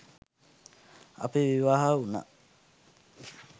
අපි විවාහ වුණා